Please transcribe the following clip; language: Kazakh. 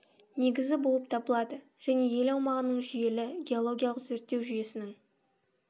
негізі болып табылады және ел аумағының жүйелі геологиялық зерттеу жүйесінің